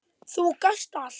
Þú gast allt!